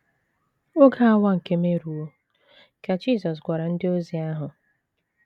“ Oge awa nke m eruwo, ” ka Jisọs gwara ndị ozi ahụ.